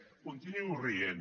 continuï rient